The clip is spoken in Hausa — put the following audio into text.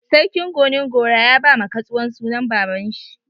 Sarkin Gonin-gora ya ba ma katsuwan sunan baba'n shi.